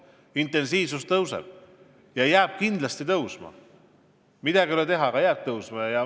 Liiklusintensiivsus kasvab ja jääb kindlasti kasvama, midagi ei ole teha.